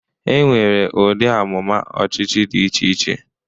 E nwere ụdị amụma ọchịchị dị iche iche.